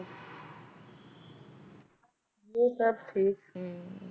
ਹੋਰ ਸਭ ਠੀਕ ਹਮ